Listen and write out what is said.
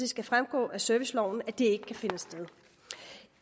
skal fremgå af serviceloven at det ikke kan finde sted